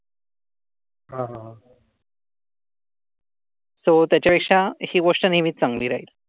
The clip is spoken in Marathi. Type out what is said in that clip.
सो, त्याच्या पेक्षा ही गोष्ट नेहमीच चांगली.